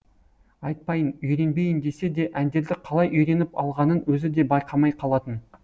айтпайын үйренбейін десе де әндерді қалай үйреніп алғанын өзі де байқамай қалатын